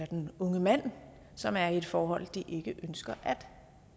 den unge mand som er i et forhold de ikke ønsker